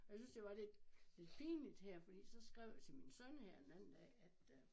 Og jeg syntes det var lidt lidt pinligt her fordi så skrev jeg til min søn her den anden dag at øh